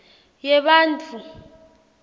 yebantfu